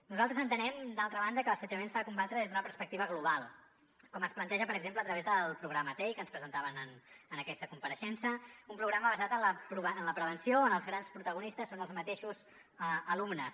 nosaltres entenem d’altra banda que l’assetjament s’ha de combatre des d’una perspectiva global com es planteja per exemple a través del programa tei que ens presentaven en aquesta compareixença un programa basat en la prevenció on els grans protagonistes són els mateixos alumnes